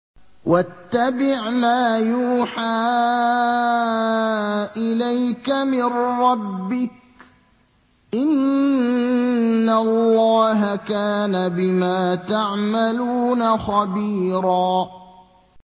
وَاتَّبِعْ مَا يُوحَىٰ إِلَيْكَ مِن رَّبِّكَ ۚ إِنَّ اللَّهَ كَانَ بِمَا تَعْمَلُونَ خَبِيرًا